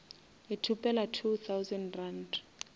o ithopela two thousand rand